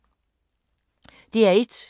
DR1